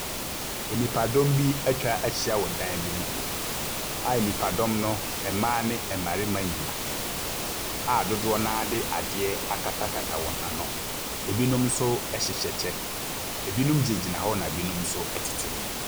Nnipadɔm bi atwa ahyia wɔ dan bi mu a nnipadɔm no, mmaa ne mmarima nyinaa, a dodoɔ no ara de adeɛ akatakata wɔ ano. Ebinom nso hyehyɛ kyɛ, ebinom gyinagyina hɔ na ebi nso tete hɔ.